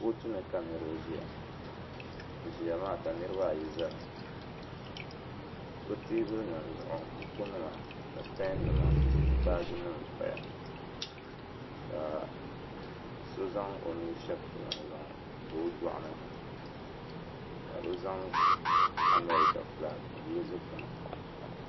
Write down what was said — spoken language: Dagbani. kootu ni ka niriba ʒeya bɛ ʒiya maa ka niriba ayi zami bɛ teebuli nima zuɣu bukunima ni pɛn nima ni baaji nima pa ya ka so zaŋ o nuhi shabi taba n-zaŋ pa o duɣini ka bɛ zaŋ Amerika fuulaaki n-yeli dukpuni.